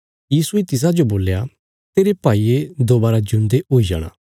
यीशुये तिसाजो बोल्या तेरे भाईये दोबारा जिऊंदे हुई जाणा